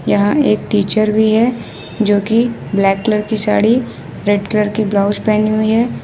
यहां एक टीचर भी है जो कि ब्लैक कलर की साड़ी रेड कलर की ब्लाउज पहनी हुई है।